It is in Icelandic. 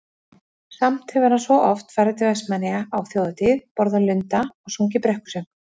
Samt hefur hann svo oft farið til Vestmannaeyja á Þjóðhátíð, borðað lunda og sungið brekkusöng.